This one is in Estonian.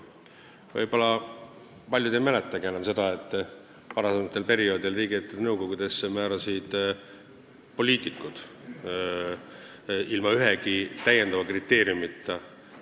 Võib-olla paljud ei mäletagi enam, et varasematel perioodidel määrasid poliitikud liikmeid riigiettevõtete nõukogudesse ilma ühegi täiendava kriteeriumita.